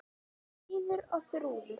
Fríður og Þrúður.